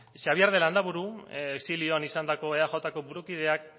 xabier de landaburu exilioan izandako eajko burukideak